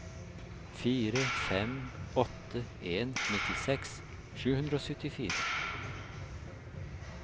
fire fem åtte en nittiseks sju hundre og syttifire